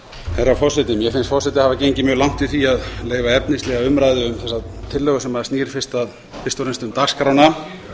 herra forseti mér finnst forseti hafa gengið mjög langt í því að leyfa efnislega umræðu um þessa tillögu sem snýr fyrst og fremst um dagskrána